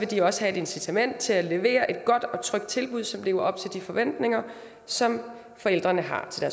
de også have et incitament til at levere et godt og trygt tilbud som lever op til de forventninger som forældrene har til